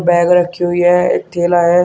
Bag रखी हुई है एक थैला है।